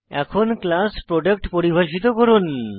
এখন class product পরিভাষিত করুন